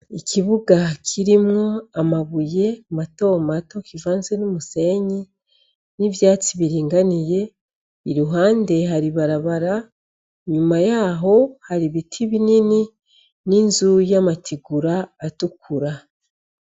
Ikibuga kirimwo amabuye mato mato kivanze n'umusenyi n'ivyatsi biringaniye, iruhande hari ibarabara, inyuma yaho hari ibiti binini n'inzu y'amategura atukura.